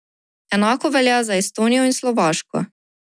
Enako velja za Estonijo in Slovaško.